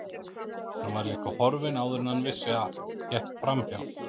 Hún var líka horfin áður en hann vissi af, gekk framhjá